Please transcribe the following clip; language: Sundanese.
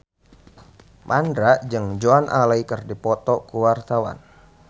Mandra jeung Joan Allen keur dipoto ku wartawan